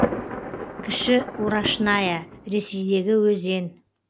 кіші урашная ресейдегі өзен